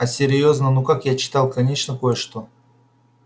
а серьёзно ну как я читал конечно кое-что